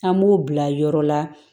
An b'o bila yɔrɔ la